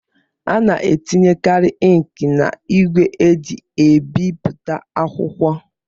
A na-etinyekari inki n'ígwè eji ebipụta akwụkwọ.